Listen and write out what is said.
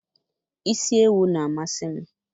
isi ewu na-amasị m